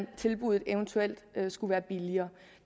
tilbuddet eventuelt skulle være billigere